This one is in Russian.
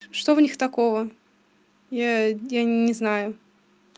что в них такого я не не знаю